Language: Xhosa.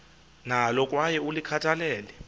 nalo kwaye ulikhathalele